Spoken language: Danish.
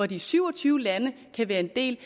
de syv og tyve lande kan være en del